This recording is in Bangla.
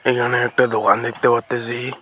এইখানে একটা দোকান দেখতে পারতাসি।